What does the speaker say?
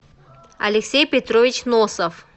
алексей петрович носов